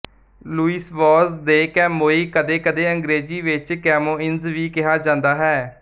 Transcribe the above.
Louise Vaz de Camoes ਕਦੇਕਦੇ ਅੰਗਰੇਜ਼ੀ ਵਿੱਚ ਕੈਮੋਇੰਨਜ਼ ਵੀ ਕਿਹਾ ਜਾਂਦਾ ਹੈ ਸ਼ਾ